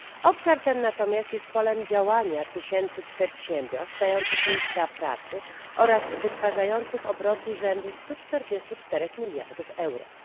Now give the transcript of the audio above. Obszar ten natomiast jest polem działania tysięcy przedsiębiorstw, dających miejsca pracy oraz wytwarzających obroty rzędu 144 miliardów euro.